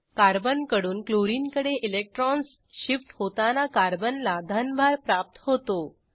कार्बनकडून क्लोरिनकडे electrons shift होताना कार्बनला धनभार प्राप्त होतो